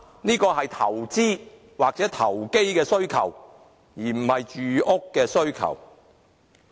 這是投資或投機的需求，而不是住屋需求。